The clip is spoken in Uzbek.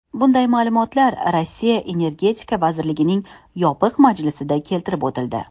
Bunday ma’lumotlar Rossiya energetika vazirligining yopiq majlisida keltirib o‘tildi.